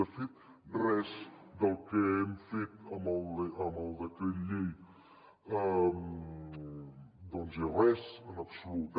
de fet res del que hem fet amb el decret llei doncs és res en absolut